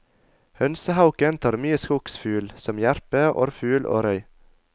Hønsehauken tar mye skogsfugl, som jerpe, orrfugl og røy.